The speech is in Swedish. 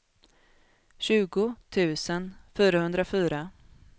tjugo tusen fyrahundrafyra